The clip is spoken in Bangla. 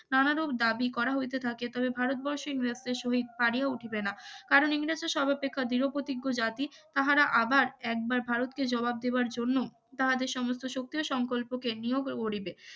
নানারূপ দাবি করা হইতে থাকে তবে ভারতবর্ষ ইংরেজদের শহীদ পারিয়া উঠিবে না কারণ ইংরেজরা সর্বাপেক্ষ ধরোপ্রতিজ্ঞ জাতি তাহারা আবার একবার ভারতকে জবাব দেবার জন্য তাহাদের সমস্ত শক্তি ও সংকল্পকে নিয়োগা করিবে